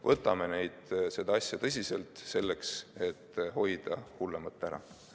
Võtame seda asja tõsiselt, et hoida ära hullemat!